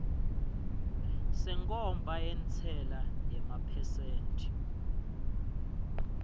senkhomba yentsela yemaphesenthi